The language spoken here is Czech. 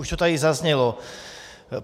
Už to tady zaznělo.